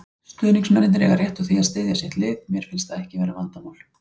Stuðningsmennirnir eiga rétt á því að styðja sitt lið, mér finnst það ekki vera vandamál.